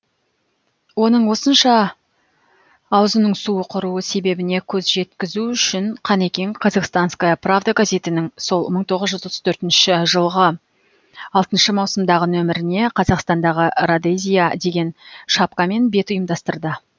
оның осынша аузының суы құруы себебіне көз жеткізу үшін қанекең казахстанская правда газетінің сол мың тоғыз жүз отыз төртінші жылғы алтыншы маусымдағы нөміріне қазақстандағы родезия деген шапкамен бет ұйымдастырды